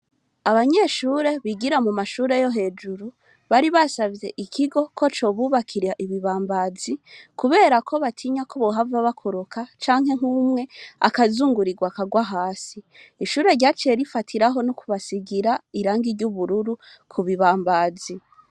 Abanyeshure bigira mu mashure yo hejuru bari basavye ikigo ko cobubakira ibibambazi kubera ko batinya ko bohava bakoroka canke nk'umwe akazungurirwa akarwa hasi. Ishure ryaciye rifatiraho no kubasigira irangi ry'ubururu ku bibambazi.